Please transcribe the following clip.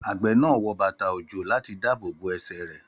Àgbẹ̀ náà wọ bàtà òjò láti dábòbò ẹ̀sẹ̀ rẹ